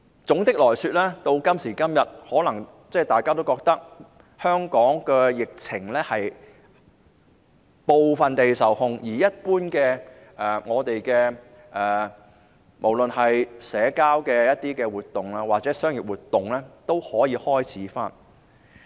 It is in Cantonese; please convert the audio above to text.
總的來說，今時今日，大家可能都覺得香港的疫情已經部分受控，無論是一般的社交活動或是商業活動，都可以開始恢復。